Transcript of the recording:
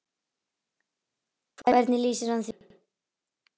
Hvernig lýsir hann því?